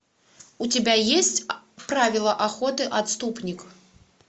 у тебя есть правила охоты отступник